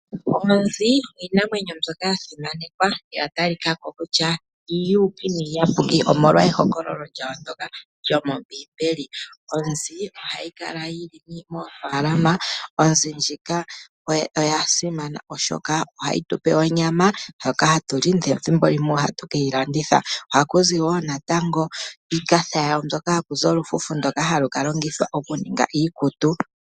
Oonzi iinamwenyo mbyoka ya simanekwa noya talikako kutya oyili uuyuuki omolwa ehokololo lyayo ndjoka lyomombiimbeli Onzi ohayi kala yili moofalama. Onzi ndjika oya simana oshoka ohayi tupe onyama ndjoka hatuli ,nethimbo limwe ohatu keyi landitha. Ohakuzi woo natango iikatha yawo hoka hakuzi omafufu ngoka haga kalongithwa oku ninga iikutu.